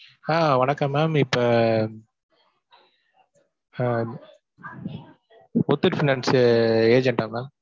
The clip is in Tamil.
ஆஹ் வணக்கம் ma'am இப்ப ah Muthoot finance ah agent டா ma'am?